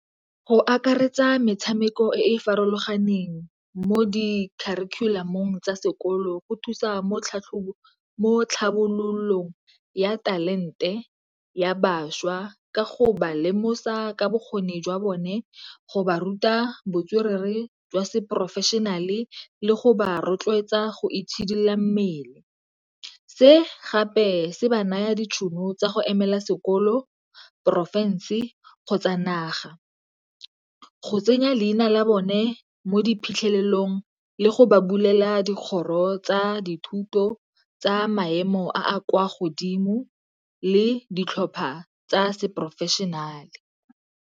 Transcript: Go akaretsa metshameko e e farologaneng mo di kharikhulamong tsa sekolo go thusa mo tlhabololong ya talente ya bašwa ka go ba lemosa ka bokgoni jwa bone go ba ruta botswerere jwa se-professional le go ba rotloetsa go itshidila mmele. Se gape se ba naya ditšhono tsa go emela sekolo, porofense kgotsa naga. Go tsenya leina la bone mo diphitlhelelong le go ba bulela dikgoro tsa dithuto tsa maemo a kwa godimo le ditlhopha tsa se-professional-e.